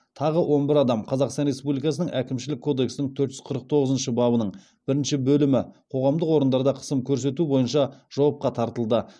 тағы он бір адам қазақстан республикасының әкімшілік кодексінің төрт жүз қырық тоғызыншы бабының бірінші бөлімі бойынша жауапқа тартылды